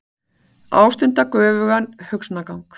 Ástunda göfugan hugsanagang.